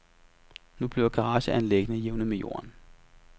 Nu bliver garageanlæggene jævnet med jorden.